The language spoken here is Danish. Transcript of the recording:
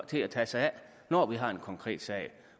til at tage sig af når vi har en konkret sag